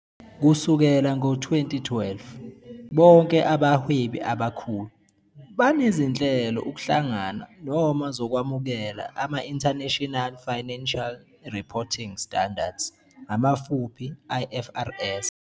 Kusukela ngo-2012, "bonke abahwebi abakhulu" banezinhlelo ukuhlangana noma zokwamukela ama-International Financial Reporting Standards, IFRS.